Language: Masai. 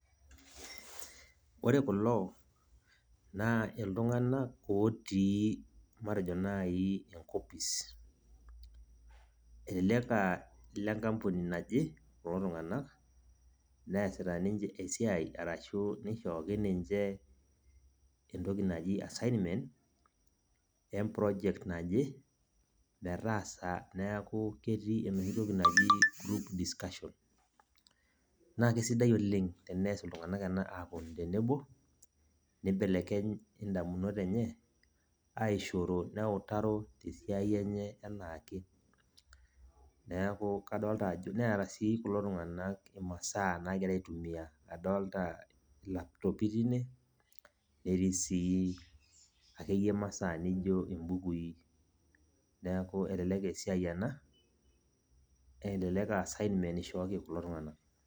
Ore kulo naa iltunganak otii matejo naji enkopis . Elelek a ile nkampuni naje kulo tunganak ,neasita ninche esiai arashu nishooki ninche entoki naji assignment eproject naje metaasa niaku ketii enoshi toki naji group discussion. Naa kisidai oleng teneton iltunganak tenebo , nibelekeny indamunot enye aishoro neutaro tesiai enye anaake . Neku kadolta ajo , neeta sii kulo tunganak imasaa nagira aitumia, adolta ilaptopi tine, netii sii akeyie imasaa nijo imbukui . Niaku elelek eesiai ena, elelek aa assignment ishooki kulo tunganak.